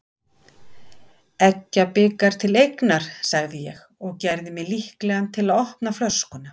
Eggjabikar til eignar, sagði ég og gerði mig líklegan til að opna flöskuna.